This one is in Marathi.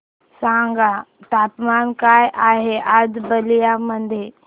सांगा तापमान काय आहे आज बलिया मध्ये